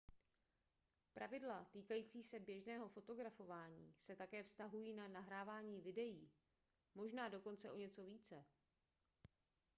pravidla týkající se běžného fotografování se také vztahují na nahrávání videí možná dokonce o něco více